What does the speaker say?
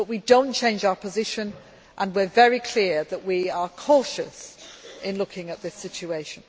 We have not changed our position, and we are very clear that we are cautious in looking at this situation.